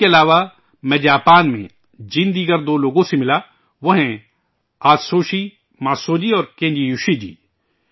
ان کے علاوہ میں، جاپان میں جن دیگر لوگوں سے ملا وہ ہیں، اتسوشی ماتسوو جی اور کینزی یوشی جی